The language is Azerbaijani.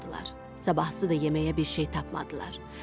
Sabahsı da yeməyə bir şey tapmadılar.